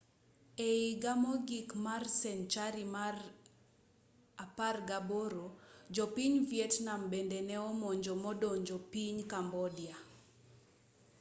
e iga mogik mar senchari mar 18 jo piny vietnam bende ne omonjo modonjo piny cambodia